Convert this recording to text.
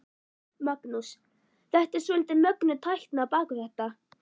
Magnús: Þetta er svolítið mögnuð tækni á bak við þetta?